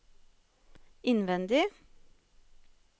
innvendig